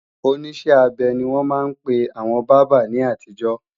Oníṣẹ́-abẹ ni wọ́n máa ń pe àwọn bábà ní àtijọ́